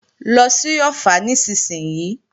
Lọ sí Ọ̀ffà nísinsìnyí!